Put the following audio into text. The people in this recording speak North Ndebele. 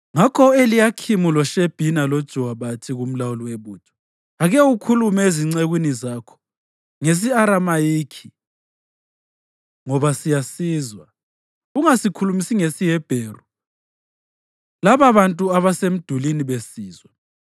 Ngakho u-Eliyakhimu loShebhina loJowa bathi kumlawuli webutho, “Ake ukhulume ezincekwini zakho ngesi-Aramayikhi ngoba siyasizwa. Ungasikhulumisi ngesiHebheru lababantu abasemdulini besizwa.”